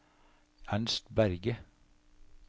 Ernst Berge